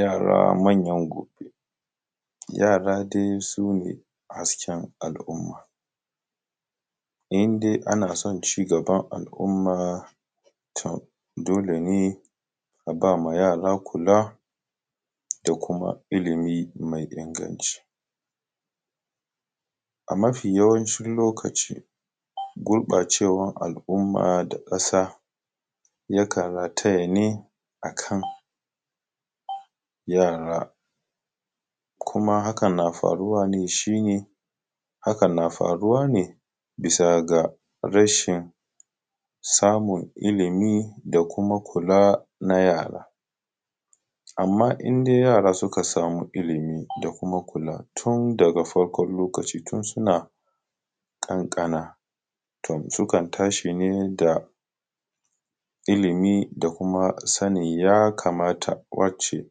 yara manyan gobe yara dai sune hasken al’umma in dai ana son cigaban al’umma to dole ne a ba ma yara kula da kuma ilimi mai inganci a mafi yawancin lokaci guɓacewan al’umma da ƙasa yakan rataya ne akan yara kuma hakan na faruwa ne shine hakan na faruwa ne bisa ga rashin samun ilimi da kuma kula na yara amma indai yara suka samu ilimi da kuma kula tun daga farkon lokaci tun suna ƙanƙana to sukan tashi ne da ilimi da kuma sanin ya kamata wacce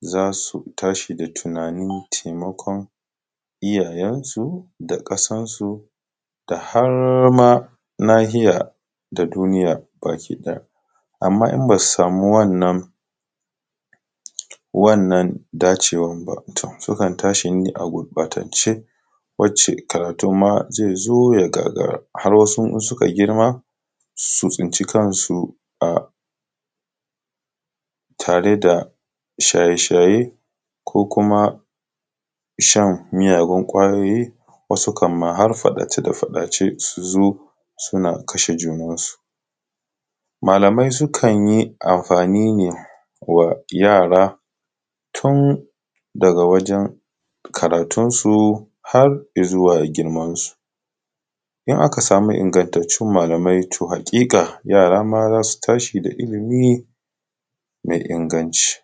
za su tashi da tunanin taimakon iyayensu da ƙasansu da harma nahiya da duniya baki ɗaya amma in ba su samu wannan dacewan ba to sukan tashi ne a gurɓatance wacce karatun ma zai zo ya gagara har wasu in suka girma su tsinci kansu a tare da shaye shaye ko kuma shan miyagun ƙwayoyi wasu kan ma har faɗace faɗace su zo suna kashe junansu malamai sukan yi amfani ne kuwa da yara tun da ga wajan karatunsu har izuwa girman su idan aka samu ingantattun malamai to haƙiƙa yara ma za su tashi da ilimi mai inganci